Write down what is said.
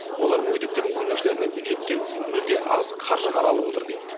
олар мүгедектердің көмекшілеріне бюджеттен мүлде аз қаржы қаралып отыр дейді